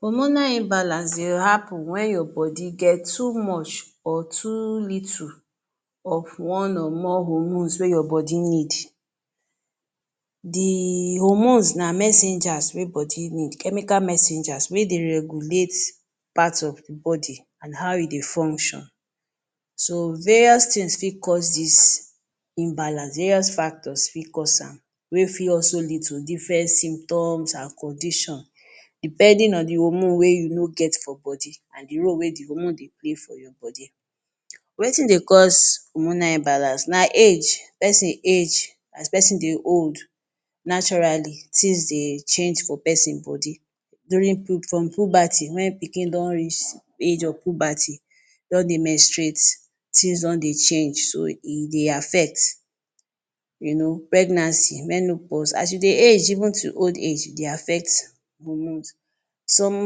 Hormonal end balance dey happen wen your body get too much or too little of one or more hormones wey your body need. The hormones na messengers wey body need, chemical messengers wey dey regulate part of the body and how e dey fuction so various tins fit cause dis imbalance, various factor fit cause am wey fit also lead to different symptom and condition depending on the hormone wey you no get for body and the way wey the hormone de dey for your body. Wetin dey cause hormonal end balance? Na age, pesin age as pesin dey old naturally tins dey change for pesin body, during puberty, wen pikin don reach the age of puberty e don dey menstruate, tins don dey change e dey affect, you know pregnancy, menopause age dey affect hormones. Some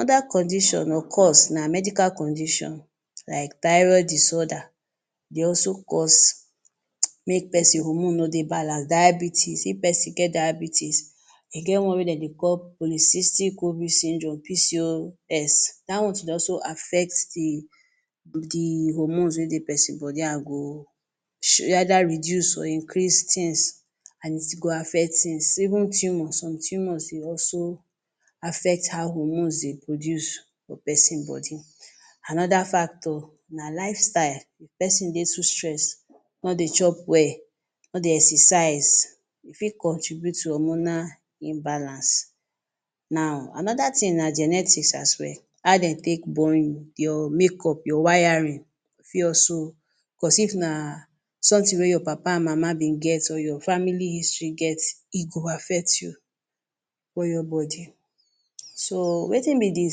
oda condition or cause na medical condition like thyroid disorder dey also cause mey pesin hormone no dey balance, diabetes if pesin get diabetes, e get one wey dem dey call polycystic ovary symdrome PCS da one too dey also affect the hoermone wey dey pesin body rather reduce or increase ten se and e go affect ten se, even tumors, some tumors dey also affect how hormones dey produce for pesin body. Anoda factor na lfe style, pesin dey too stress, no dey chop well, no dey exercise, e fit contribute to hormonal imbalance. Anoda tin na genetics as well, how dem take born you, your makeup, your wiring go fit also.if na somtin wey your mama and papa been get your family history been get, e go affect you. So wetin be the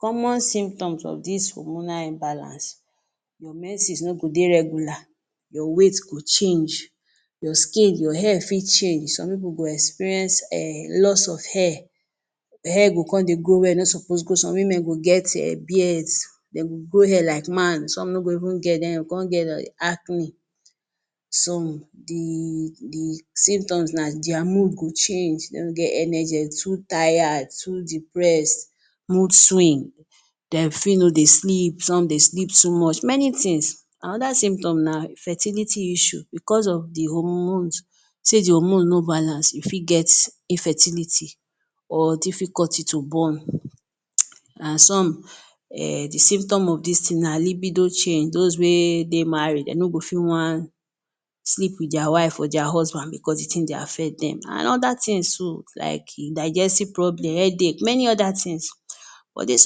common symptoms of dis hormonal end balance? Your mense no go dey normal, your weight go change, your skin, your hair fit change. Some pipul go experience lost of hair, hair go grow where e no suppose to grow some women go get beard, dey go grow hair like man, some no go even get then dey con get dey arc me. Some the symptoms na dia mood go change, energy too tired, too depress, some fit no dey sleep some dey sleep too much Anoda symptoms na the fertility issue sey the hormone no balance you fit get infertility f difficulty to born. Some the symptom of dis tin na libido change t=dos wey dey mari dey no go wan sleep with their wife or husband because the tin dey affect dem, tins so like digestive system, headache many oda tins but dis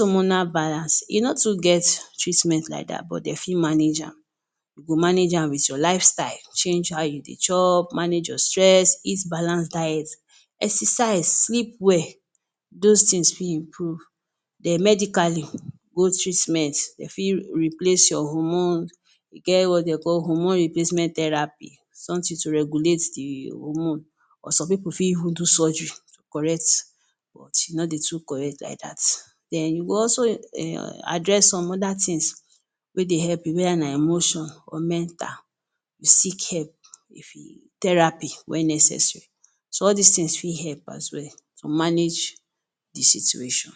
hormonal balance e no fit get treatment like dat but dey fit manage am you go manage am with your life style, change how you dey chop, manage your stress, eat balance diet and exercise, sleep well, dos tins fit improve. Then medicali, go treatment, dem fit replace your hormone, e get wetin de dey call hormone replacement therapy, sometin to regulate the hormone, some pipul fit do surgery, correct but e no dey correct like dat. Then address some other tin wey dey help you weda na mental or emotional seek help, theraphy when necessary, so all dis tin fit help tp manage the situation.